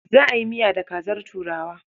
Za a yi miya da kazar turawa.